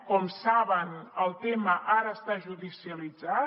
com saben el tema ara està judicialitzat